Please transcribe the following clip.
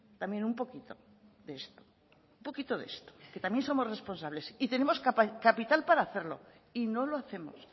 también un poquito de esto un poquito de esto que también somos responsables y tenemos capital para hacerlo y no lo hacemos